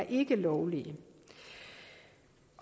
ikke er lovlige